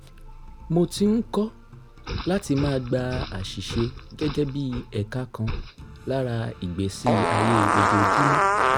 mo ti ń kọ́ láti máa gba àṣìṣe gẹ́gẹ́ bí ẹ̀ka kan lára ìgbésí ayé ojoojúmọ́